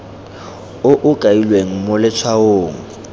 o o kailweng mo letshwaong